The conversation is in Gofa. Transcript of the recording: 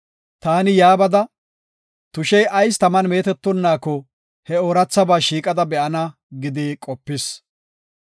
“Taani yaa bada, tushey ayis taman meetetonnaako he oorathabaa shiiqada be7ana” gidi qopis.